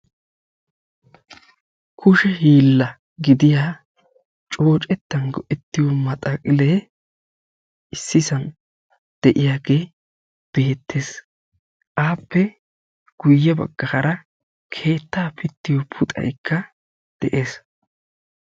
kushe hiilla gidiyaa coocetan go'ettiyo maxxaqilee issisan de'iyageeti. appe guye baggaara keettaa pittiyo puxxaykka beettees.